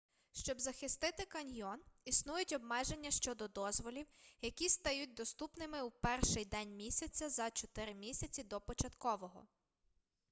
щоб захистити каньйон існують обмеження щодо дозволів які стають доступними у перший день місяця за чотири місяці до початкового